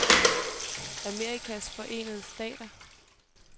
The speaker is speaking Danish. Amerikas Forenede Stater